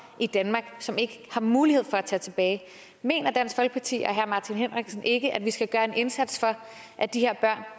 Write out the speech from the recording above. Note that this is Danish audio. i danmark og som ikke har mulighed for at tage tilbage mener dansk folkeparti og herre martin henriksen ikke at vi skal gøre en indsats for at de her børn